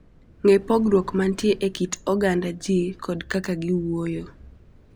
Ng'e pogruok mantie e kit oganda ji kod kaka giwuoyo.